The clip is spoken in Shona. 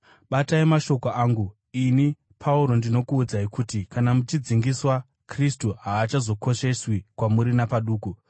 Batai mashoko angu! Ini, Pauro, ndinokuudzai kuti kana muchidzingiswa, Kristu haachakosheswi kwamuri napaduku.